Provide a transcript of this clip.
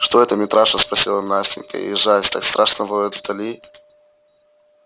что это митраша спросила настенька ёжась так страшно воет вдали